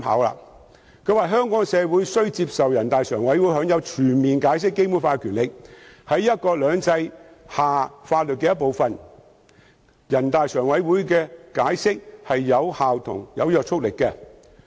他表示，香港社會需要接受人大常委會享有全面解釋《基本法》的權力，在"一國兩制"下這是法律的一部分，人大常委會的解釋是有效及有約束力的。